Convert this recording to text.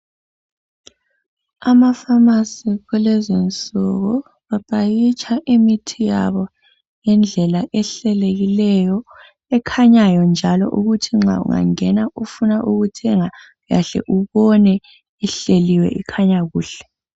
Amafamasi kulezinsuku bapakitsha imithi yabo ngendlela ehlelekileyo, ekhanyayo njalo ukuthi nxa ungangena ufuna ukuthenga uyahle ubone ihleliwe ikhanya kuhle.